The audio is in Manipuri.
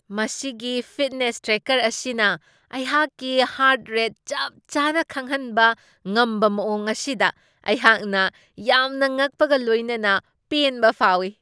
ꯃꯁꯤꯒꯤ ꯐꯤꯠꯅꯦꯁ ꯇ꯭ꯔꯦꯀꯔ ꯑꯁꯤꯅ ꯑꯩꯍꯥꯛꯀꯤ ꯍ꯭ꯔꯠ ꯔꯦꯠ ꯆꯞ ꯆꯥꯅ ꯈꯪꯍꯟꯕ ꯉꯝꯕ ꯃꯋꯣꯡ ꯑꯁꯤꯗ ꯑꯩꯍꯥꯛꯅ ꯌꯥꯝꯅ ꯉꯛꯄꯒ ꯂꯣꯏꯅꯅ ꯄꯦꯟꯕ ꯐꯥꯎꯢ ꯫